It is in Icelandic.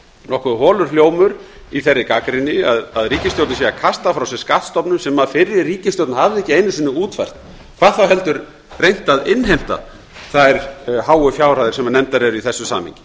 nokkuð holur hljómur í þeirri gagnrýni að ríkisstjórnin sé að kasta frá sér skattstofnum sem fyrri ríkisstjórn hafði ekki einu sinni útfært hvað þá heldur reynt að innheimta þær háu fjárhæðir sem nefndar eru í þessu samhengi